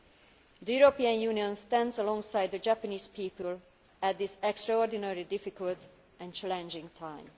The European Union stands alongside the Japanese people at this extraordinarily difficult and challenging time.